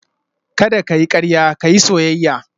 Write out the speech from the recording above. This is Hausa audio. Kada ka yi karya ka yi soyayya